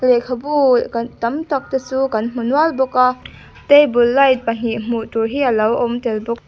lehkhabu tam tak te chu kan hmu nual bawk a table light pahnih hmuh tur hi a lo awm tel bawk.